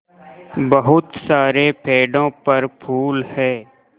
बहुत सारे पेड़ों पर फूल है